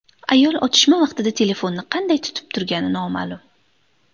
Ayol otishma vaqtida telefonni qanday tutib turgani noma’lum.